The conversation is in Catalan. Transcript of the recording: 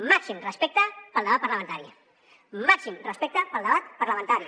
màxim respecte pel debat parlamentari màxim respecte pel debat parlamentari